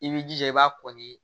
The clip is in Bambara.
I b'i jija i b'a kɔ ni